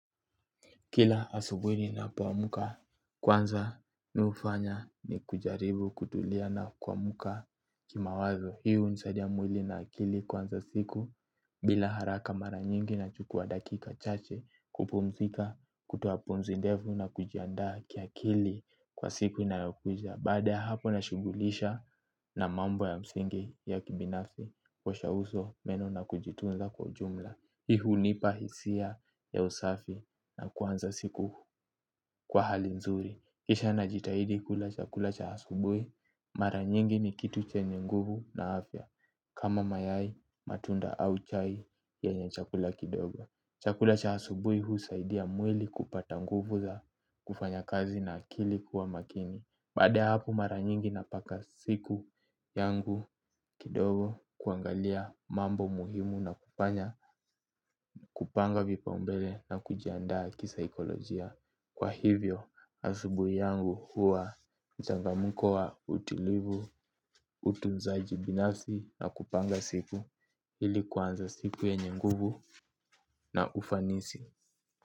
Kila asubuhi ninapoamka kwanza nufanya ni kujaribu kutulia na kuamka kimawazo. Hii hunisadia mwili na akili kuanza siku bila haraka mara nyingi nachukua dakika chache kupumzika kutoa pumzi ndefu na kujiandaa kiakili kwa siku inayokuja. Baada ya hapo nashughulisha na mambo ya msingi ya kibinafi kuosha uso, meno na kujitunza kwa ujumla. Hii hunipa hisia ya usafi na kuanza siku kwa hali nzuri. Kisha najitahidi kula chakula cha asubuhi. Mara nyingi ni kitu chenye nguvu na afya. Kama mayai, matunda au chai yenye chakula kidogo chakula cha asubuhi huusaidia mwili kupata nguvu za kufanya kazi na akili kuwa makini. Baada ya hapo mara nyingi napaka siku yangu kidogo kuangalia mambo muhimu na kupanya. Kupanga vipaumbele na kujiandaa kisaikolojia. Kwa hivyo, asubuhi yangu huwa mchangamko wa utulivu, utunzaji binafsi na kupanga siku ili kuanza siku yenye nguvu na ufanisi.